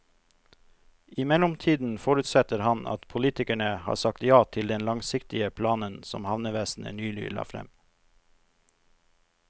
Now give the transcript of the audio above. I mellomtiden forutsetter han at politikerne har sagt ja til den langsiktige planen som havnevesenet nylig la frem.